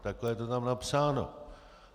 Takhle je to tam napsáno.